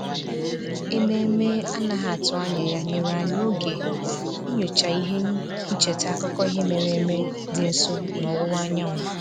Ememe a na-atụghị anya ya nyere anyị oge inyocha ihe ncheta akụkọ ihe mere eme dị nso n'ọwụwa anyanwụ